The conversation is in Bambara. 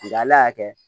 Nga ala y'a kɛ